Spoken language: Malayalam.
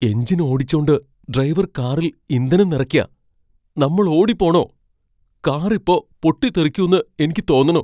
എഞ്ചിൻ ഓടിച്ചോണ്ട് ഡ്രൈവർ കാറിൽ ഇന്ധനം നിറയ്ക്കാ. നമ്മൾ ഓടിപ്പോണോ ? കാർ ഇപ്പൊ പൊട്ടിത്തെറിക്കുന്ന് എനിക്ക് തോന്നണു .